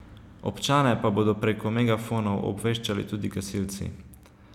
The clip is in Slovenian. Občane pa bodo preko megafonov obveščali tudi gasilci.